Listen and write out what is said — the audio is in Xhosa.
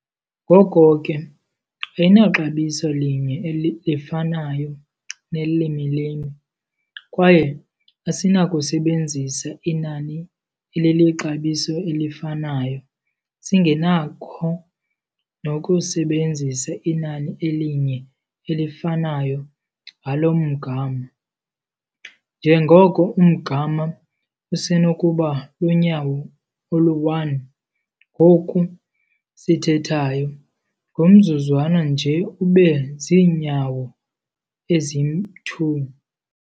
Ngoko ke ayinaxabiso linye lifanayo nelimi limi, kwaye asinakusebenzisa inani elilixabiso elifanayo, singenakho nokusebenzisa inani elinye elifanayo ngalo mgama, njengoko umgama usenokuba lunyawo olu-1 ngoku sithethayo, ngomzuzwana nje ube ziinyawo ezi-2.